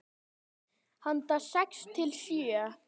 Handa sex til sjö